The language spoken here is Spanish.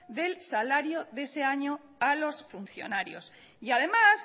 del salario de ese año a los funcionarios y además